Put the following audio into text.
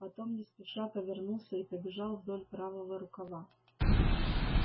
потом не спеша повернулся и побежал вдоль правого рукава